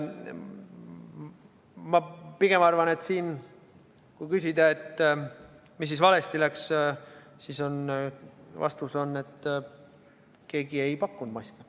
Ma pigem arvan, et kui küsida, mis siin valesti läks, siis vastus on see, et keegi ei pakkunud maski.